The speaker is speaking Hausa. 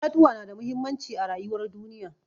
Itatuwa na da muhimmanci a rayuwar duniya.